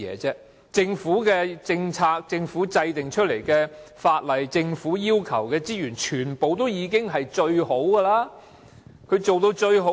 政府的政策、政府制定的法例及政府要求的資源都是最好的，可以做到最好。